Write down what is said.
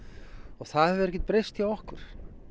og það hefur ekkert breyst hjá okkur